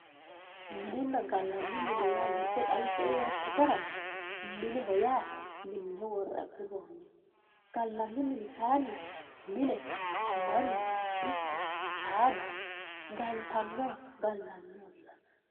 minenna gallanni mine ledde xawisie yoottatera mineho yaa minne worre agurroonniho gallanni mini kayiinni mne mannu ikko saada galtanniha gallanniho yinanni.